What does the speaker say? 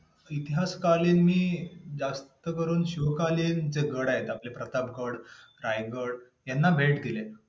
आत्मा या तत्व विषयी सम्यक ज्ञान प्राप्त करून देणारा म्हणजे सांख्ययोगग होय. सांख्यम्हणजे संख्या विषयक ज्ञान प्राप्त करून देणारी शास्त्र सृष्टीच्या मूलभूत तत्वांची संख्या सांगणारे शास्त्र म्हणजे सांख्य होय.